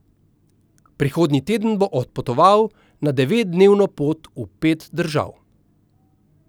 Prihodnji teden bo odpotoval na devetdnevno pot v pet držav.